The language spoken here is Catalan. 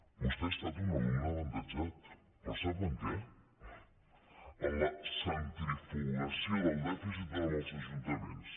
vostè ha estat un alumne avantatjat però sap en què en la centrifugació del dèficit als ajuntaments